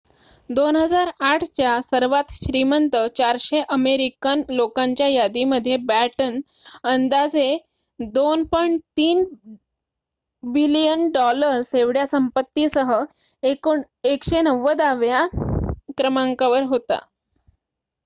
२००८ च्या सर्वांत श्रीमंत ४०० अमेरिकन लोकांच्या यादीमध्ये बॅटन अंदाजे $२.३ बिलियन एवढ्या संपत्तीसह १९० व्या क्रमांकावर होता